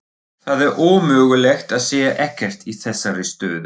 Það er ómögulegt að segja ekkert í þessari stöðu.